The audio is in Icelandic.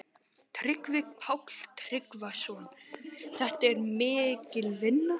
Tryggvi Páll Tryggvason: Þetta er mikil vinna?